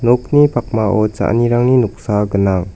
nokni pakmao cha·anirangni noksa gnang.